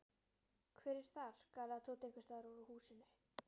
Hver er þar? galaði Tóti einhvers staðar úr húsinu.